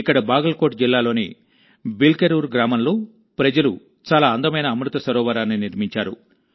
ఇక్కడ బాగల్కోట్ జిల్లాలోని బిల్కెరూర్ గ్రామంలో ప్రజలు చాలా అందమైన అమృత సరోవరాన్ని నిర్మించారు